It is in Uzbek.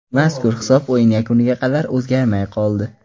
Mazkur hisob o‘yin yakuniga qadar o‘zgarmay qoldi.